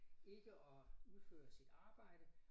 Ikke at udføre sit arbejde